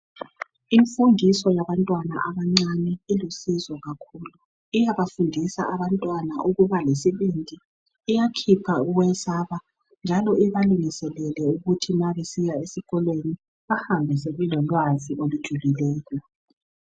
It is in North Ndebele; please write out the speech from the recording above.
Imfundiso yabantwana abancane ilusizo kakhulu. Iyabafundisa abantwana ukuba lesibindi. Iyakhipha ukwesaba. Njalo ibalungiselele ukuthi ma besiya esikolweni bahambe sebelolwazi olujulileyo.